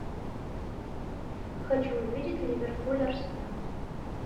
хочу увидеть ливерпуль арсенал